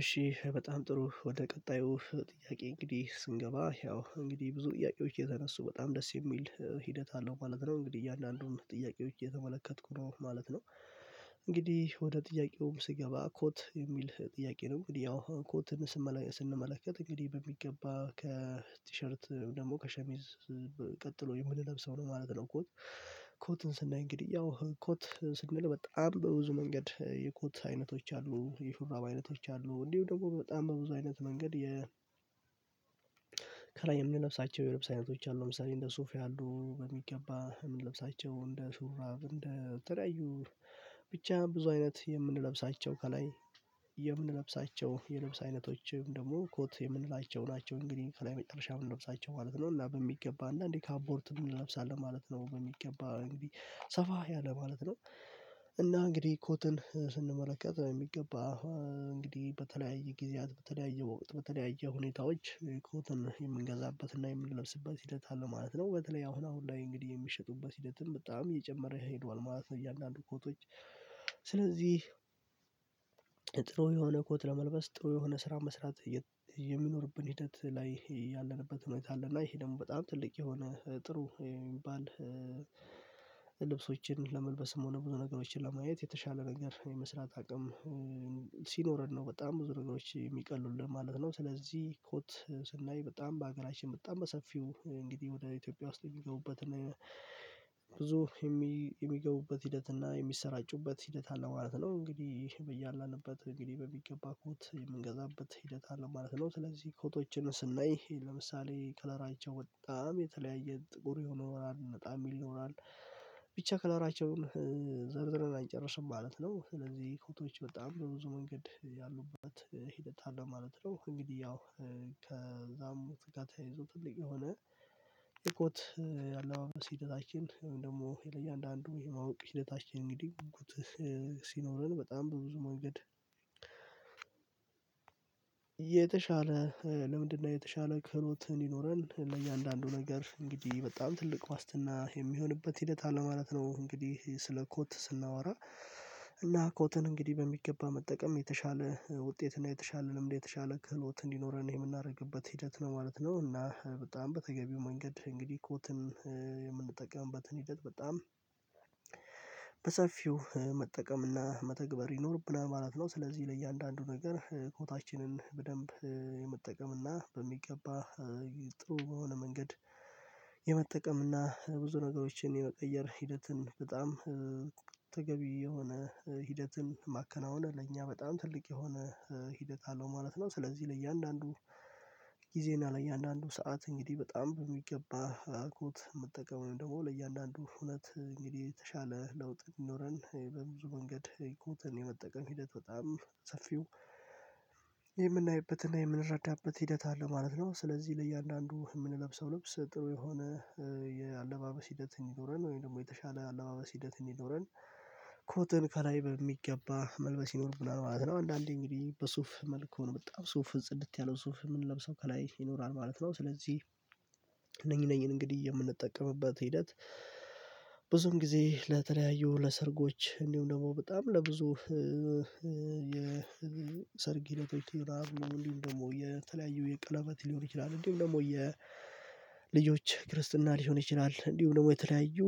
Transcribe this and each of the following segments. እሺ በጣም ጥሩ ወደ ቀጣዩ ጥያቄ እንግዲህ ስንገባ ያው እንግዲህ ብዙ ጥያቄዎች የተነሱ በጣም ደስ የሚል ሂደት አለው ማለት ነው እንግዲህ እያንዳንዱን ጥያቄዎች እየተመለከትኩ ነው ማለት ነው። እንግዲህ ወደ ጥያቄውም ስገባ ኮት የሚል ጥያቄ ነው እንግዲህ ያው ኮትን ስንመለከት እንግዲህ በሚገባ ከቲሸርት ደግሞ ከሸሚዝ ቀጥሎ የምንለብሰው ነው ማለት ነው። ኮት ኮትን ስናይ እንግዲህ ያው ኮት ስንል በጣም በብዙ መንገድ የኮት አይነቶች አሉ የሹራብ አይነቶች አሉ እንዲሁ ደግሞ በጣም በብዙ አይነት መንገድ የ ከላይ የምንለብሳቸው የልብስ አይነቶች አሉ። ለምሳሌ እንደ ሱፊ ያሉ በሚገባ የምንለብሳቸው እንደ ሹራብ እንደ ተለያዩ ብቻ ብዙ አይነት የምንለብሳቸው ከላይ የምንለብሳቸው የልብስ አይነቶችም ደግሞ ኮት የምንላቸው ናቸው። እንግዲህ ከላይ መጨረሻ የምንለብሳቸው ማለት ነው እና በሚገባ እና እንዴ ካፖርት እንለብሳለን ማለት ነው በሚገባ እንግዲህ ሰፋ ያለ ማለት ነው። እና እንግዲህ ኮትን ስንመለከት የሚገባ እንግዲህ በተለያየ ጊዜያት በተለያየ ወይም በተለያየ ሁኔታዎች ኮትን የምንገዛበትና የምንለብስበት ሂደት አለ ማለት ነው። በተለይ አሁን ላይ እንግዲህ የሚሸጡበት ሂደትም በጣም እየጨመረ ሄዷል ማለት ነው። እያንዳንዱ ኮቶች ስለዚህ ጥሩ የሆነ ኮት ለመልበስ ጥሩ የሆነ ስራ መስራት የሚኖርብን ሂደት ላይ ያለንበት ሁኔታ አለ እና ይሄ ደግሞ በጣም ትልቅ የሆነ ጥሩ የሚባል ልብሶችን ለመልበስም ሆነ ብዙ ነገሮችን ለማየት የተሻለ ነገር የመስራት አቅም ሲኖረን ነው በጣም ብዙ ነገሮች የሚቀሉልን ማለት ነው። ስለዚህ ኮት ስናይ በጣም በሀገራችን በጣም በሰፊው እንግዲህ ወደ ኢትዮጵያ ውስጥ የሚገቡበት እና ብዙ የሚገቡበት ሂደት እና የሚሰራጩበት ሂደት አለ ማለት ነው። እንግዲህ በያለንበት እንግዲህ በሚገባ ኮት የምንገዛበት ሂደት አለ ማለት ነው። ስለዚህ ኮቶችን ስናይ ለምሳሌ ከለራቸው በጣም የተለያየ ጥቁር ይኖራል ነጣ የሚል ይኖራል ብቻ ከላራቸውን ዘርዝረን አንጨርስም ማለት ነው ስለዚህ ኮቶዎች በጣም ብዙ መንገድ ያሉበት ሂደት አለ ማለት ነው። እንግዲህ ያው ከዛም ጋር የይዞ ትልቅ የሆነ የኮት አለባበስ ሂደታችን ደግሞ ለየአንድ አንዱ የማወቅ ሂደታችን እንግዲህ ጉጉት ሲኖረን በጣም በብዙ መንገድ የተሻለ ለምንድነው የተሻለ ክህሎት እንድኖረን ለእያንዳንዱ ነገር እንግዲህ በጣም ትልቅ ዋስትና የሚሆንበት ሂደት አለ ማለት ነው። እንግዲህ ስለ ኮት ስናወራ እና ኮትን እንግዲህ በሚገባ መጠቀም የተሻለ ውጤት እና የተሻለ ልምድ የተሻለ ክህሎት እንዲኖረን የምናደርግበት ሂደት ነው ማለት ነው። እና በጣም በተገቢው መንገድ እንግዲህ ኮትን የምንጠቀምበትን ሂደት በጣም በሰፊው መጠቀምና መተግበር ይኖርብናል ማለት ነው። ስለዚህ ለእያንዳንዱ ነገር ኮታችንን በደንብ የመጠቀም እና በሚገባ ጥሩ በሆነ መንገድ የመጠቀም እና ብዙ ነገሮችን የመቀየር ሂደትን በጣም ተገቢ የሆነ ሂደትን ማከናወነ ለእኛ በጣም ትልቅ የሆነ ሂደት አለው ማለት ነው። ስለዚህ ለእያንዳንዱ ጊዜ እና ለእያንዳንዱ ሰዓት እንግዲህ በጣም በሚገባ ኮት መጠቀም ነው ደግሞ ለእያንዳንዱ እውነት እንግዲህ የተሻለ ለውጥ ይኖረን በብዙ መንገድ ኮትን የመጠቀም ሂደት በጣም ሰፊው የምናይበትና የምንረዳበት ሂደት አለ ማለት ነው። ስለዚህ ለእያንዳንዱ የምንለብሰው ልብስ ጥሩ የሆነ የአለባበስ ሂደት እንዲኖረን ወይም ደግሞ የተሻለ አለባበስ ሂደት እንዲኖረን ኮትን ከላይ በሚገባ መልበስ ይኖርብናል ማለት ነው። አንዳንዴ እንግዲህ በሱፍ መልኩ ነው በጣም ሱፍ ጽድት ያለው ሱፍ የምንለብሰው ከላይ ይኖራል ማለት ነው። ስለዚህ እነኚህ እነኚህን እንግዲህ የምንጠቀምበት ሂደት ብዙም ጊዜ ለተለያዩ ለሰርጎች እንዲሁም ደግሞ በጣም ለብዙ የሰርግ ዕለቶች ነው እንዲሁም ደግሞ የተለያዩ የቀለበት ሊሆን ይችላል እንዲሁም ደግሞ የልጆች ክርስትና ሊሆን ይችላል እንዲሁም ደግሞ የተለያዩ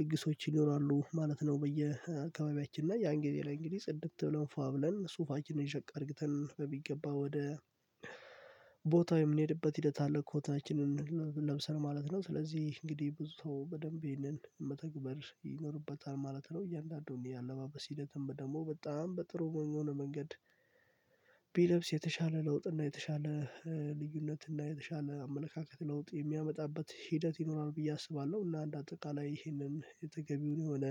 ድግሶች ይኖራሉ ማለት ነው። በየአካባቢያችን ላይ ያን ጊዜ ለእንግዲህ ጽድት ብለን ፏ ብለን ሱፋችንን ሸቀጥ አድርግተን በሚገባ ወደ ቦታው የምንሄድበት ሂደት አለ ኮታችንን ለብሰን ማለት ነው ስለዚህ እንግዲህ ብዙ ሰው በደንብ ይህንን መተግበር ይኖርበታል ማለት ነው። እያንዳንዱን የአለባበስ ሂደትም በጣም በጥሩ በሆነ መንገድ ቢለብስ የተሻለ ለውጥ እና የተሻለ ልዩነት እና የተሻለ አመለካከት ለውጥ የሚያመጣበት ሂደት ይኖራል ብዬ አስባለሁ ለአንድ አጠቃላይ ይህንን የተገቢውን የሆነ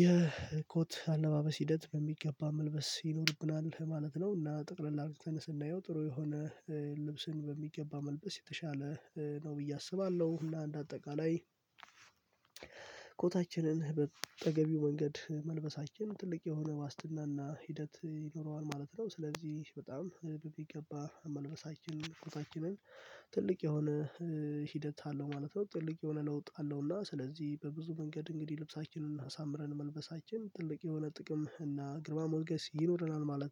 የኮት አለባበስ ሂደት በሚገባ መልበስ ይኖርብናል ማለት ነው። እና ጠቅለላ ስናየው ጥሩ የሆነ ልብስን በሚገባ መልበስ የተሻለ ነው ብዬ አስባለሁ እንዴ አጠቃላይ ኮታችንን በተገብው መንገድ መልበሳችን ትልቅ የሆነ ዋስትና እና ሂደት ይኖረዋል ማለት ነው። ስለዚህ በጣም በምገባ መልበሳችን ፎቶአችንን ትልቅ የሆነ ሂደት አለው ማለት ነው። ትልቅ የሆነ ለውጥ አለው እና ስለዚህ በብዙ መንገድ እንግዲህ ልብሳችንን አሳምረን መልበሳችን ትልቅ የሆነ ጥቅም እና ግርማ ሞገስ ይኖረናል ማለት ነው